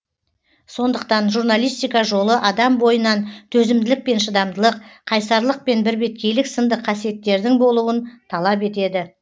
сондықтан журналистика жолы адам бойынан төзімділік пен шыдамдылық қайсарлық пен бірбеткейлік сынды қасиеттердің болуын талап етеді